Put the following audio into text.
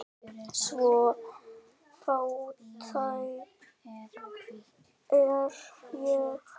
Svo fátæk er ég.